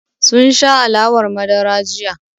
Sun sha alawar madara jiya.